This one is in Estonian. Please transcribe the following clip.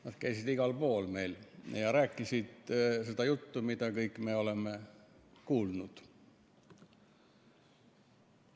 Nad käisid igal pool meil ja rääkisid seda juttu, mida me kõik oleme kuulnud.